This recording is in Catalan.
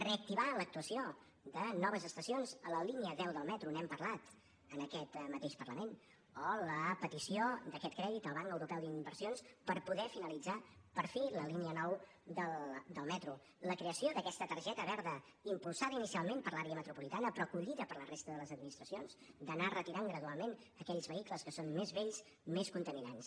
reactivar l’actuació de noves estacions a la línia deu del metro n’hem parlat en aquest mateix parlament o la petició d’aquest crèdit al banc europeu d’inversions per poder finalitzar per fi la línia nou del metro la creació d’aquesta targeta verda impulsada inicialment per l’àrea metropolitana però acollida per la resta de les administracions d’anar retirant gradualment aquells vehicles que són més vells més contaminants